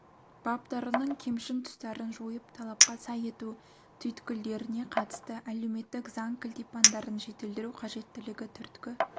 баптарының кемшін тұстарын жойып талапқа сай ету түйткілдеріне қатысты әлеуметтік заң кілтипандарын жетілдіру қажеттілігі түрткі